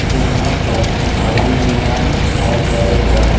यहां पर भवन निर्माण किया जाएगा।